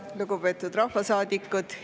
Lugupeetud rahvasaadikud!